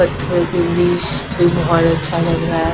पत्थरो के बीच में बहोत अच्छा लग रहा है।